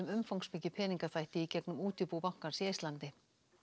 umfangsmikið peningaþvætti í gegnum útibú bankans í Eistlandi